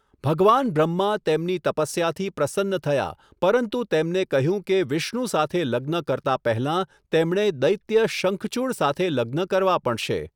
ભગવાન બ્રહ્મા તેમની તપસ્યાથી પ્રસન્ન થયા પરંતુ તેમને કહ્યું કે વિષ્ણુ સાથે લગ્ન કરતાં પહેલાં તેમણે દૈત્ય શંખચુડ સાથે લગ્ન કરવાં પડશે.